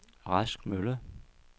Rask Mølle